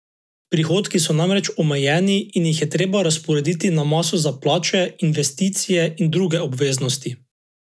Prihodki so namreč omejeni in jih je treba razporediti na maso za plače, investicije in druge obveznosti.